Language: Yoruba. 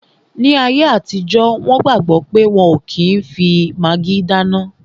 Ní ayé àtijọ́, wọn gbàgbọ̀ pé wọ́n ò kí n fi magí dáná